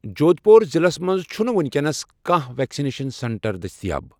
جودھ پوٗر ضلعس مَنٛز چھِ نہٕ وُنکٮ۪نَس کانٛہہ ویکسِنیشن سینٹر دٔستِیاب۔